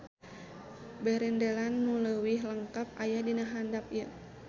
Berendelan nu leuwih lengkep aya di handap ieu